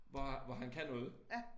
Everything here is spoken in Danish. Hvor hvor han kan noget